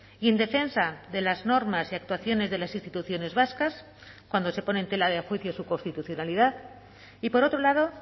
y en defensa de las normas y actuaciones de las instituciones vascas cuando se pone en tela de juicio su constitucionalidad y por otro lado